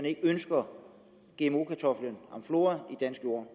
ikke ønsker gmo kartoflen amflora i dansk jord